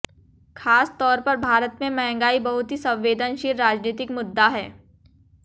खास तौर पर भारत में महंगाई बहुत ही संवेदनशील राजनीतिक मुद्दा है